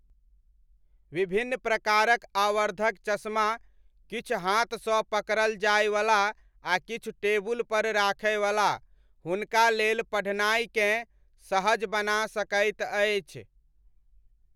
विभिन्न प्रकारक आवर्धक चश्मा, किछु हाथसँ पकड़ल जाइवला आ किछु टेबुलपर राखयवला, हुनका लेल पढ़नाइकेँ सहज बना सकैत अछि।